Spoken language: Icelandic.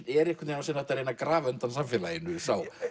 er einhvern veginn að reyna að grafa undan samfélaginu sá